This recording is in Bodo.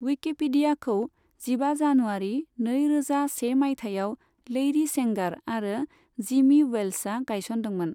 उइकिपिडियाखौ जिबा जानुवारि नै रोजा से माइथायाव लैरि सेंगार आरो जिमी वेल्सआ गायसनदोंमोन।